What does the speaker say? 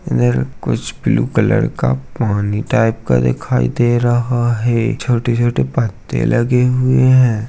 नीर कुछ blue colour का पानी टाईप का दिखाई दे रहा है छोटे-छोटे पत्ते लगे हुए हैं।